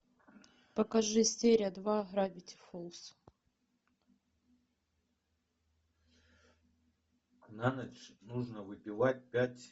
покажи серия два гравити фолз